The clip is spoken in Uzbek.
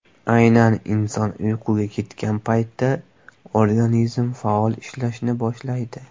Aynan inson uyquga ketgan paytda organizm faol ishlashni boshlaydi.